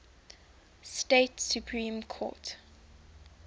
state supreme court